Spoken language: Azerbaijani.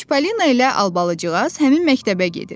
Çippollino ilə Albalıcığaz həmin məktəbə gedir.